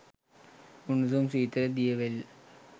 උණුසුම් සීතල දියවැල්